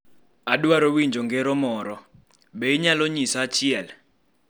Adwaro winjo ngero moro. Be inyalo nyisa achiel?